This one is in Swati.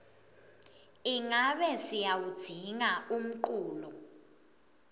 ingabe siyawudzinga umculo